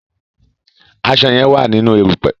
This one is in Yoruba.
aṣọ yen wá nínú erùpẹ̀.